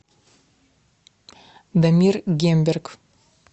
дамир гемберг